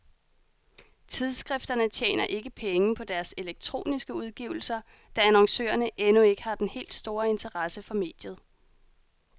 Tidskrifterne tjener ikke penge på deres elektroniske udgivelser, da annoncørerne endnu ikke har den helt store interesse for mediet.